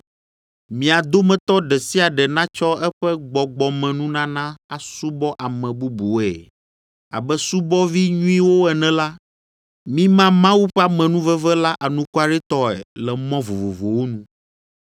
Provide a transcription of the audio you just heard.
Mia dometɔ ɖe sia ɖe natsɔ eƒe gbɔgbɔmenunana asubɔ ame bubuwoe; abe subɔvi nyuiwo ene la, mima Mawu ƒe amenuveve la anukwaretɔe le mɔ vovovowo nu.